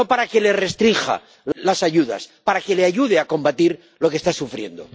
No para que le restrinja las ayudas, para que le ayude a combatir lo que está sufriendo.